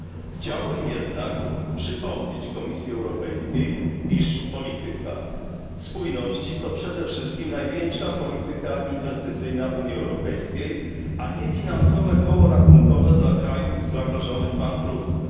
Chciałbym jednak przypomnieć Komisji Europejskiej, iż polityka spójności to przede wszystkim największa polityka inwestycyjna Unii Europejskiej, a nie finansowe koło ratunkowe dla krajów zagrożonych bankructwem.